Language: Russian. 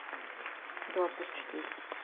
два плюс четыре